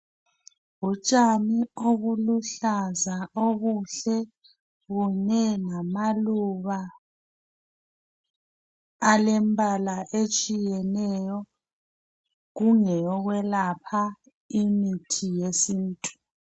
Utshani obuluhlaza obuhle bone ngamaluba alembala etshiyeneyo kungeyokwelapha imithi yesintu.